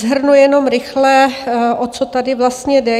Shrnu jenom rychle, o co tady vlastně jde.